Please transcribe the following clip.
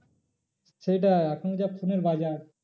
সেটাই এখন যা phone এর বাজার।